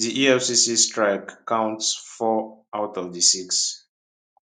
di efcc strike counts four out of di six